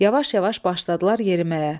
Yavaş-yavaş başladılar yeriməyə.